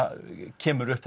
kemur upp